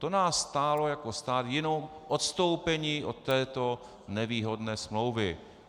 To nás stálo jako stát jenom odstoupení od této nevýhodné smlouvy.